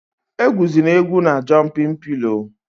Egwuzịna egwu na jọmpịn pịlọ!